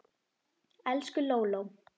Elsku Lóló.